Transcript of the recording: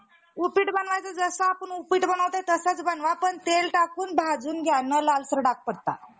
मच्छीद्या पेक्षा काहीसे मोठे असल्यामुळे, पाण्यावर कासवांसारख्या अवकाश चालवत असे. या कारणामुळे त्या टोकीच्या अधिकारांच्या टोपणनाव,